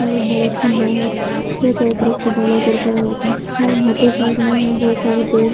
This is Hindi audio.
यहां एक बहुत खंभों है बहुत सारे पेड़ --